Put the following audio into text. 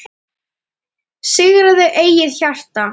Sigraðu eigið hjarta